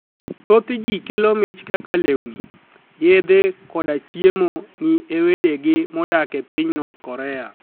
Thoth ji kelo mich kaka lewnii, yedhe koda chiemo ni e wedegi modak e piniy north Korea.